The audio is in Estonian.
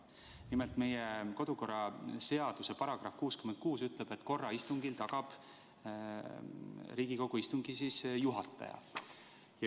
Nimelt, meie kodu- ja töökorra seaduse § 66 ütleb, et korra istungil tagab Riigikogu istungi juhataja.